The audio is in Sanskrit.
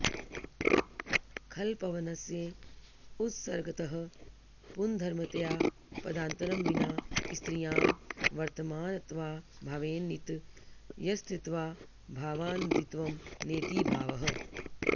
खलपवनस्य उत्सर्गतः पुंधर्मतया पदान्तरं विना स्त्रियां वर्तमानत्वाऽभावेन नित्यस्त्रीत्वाऽभावान्नदीत्वं नेति भावः